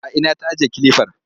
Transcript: A ina ta ajiye kilifar?